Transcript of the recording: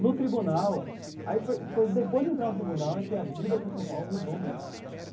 No tribunal aí foi foi, depois de entrar no tribunal, é que a vida aqui em São Paulo mudou mesmo.